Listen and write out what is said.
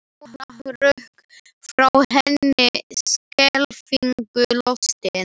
Jóra hrökk frá henni skelfingu lostin.